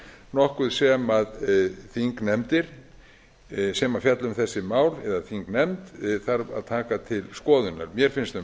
nokkuð sem þingnefndir sem fjalla um þessi mál eða þingnefnd þarf að taka til skoðunar mér finnst um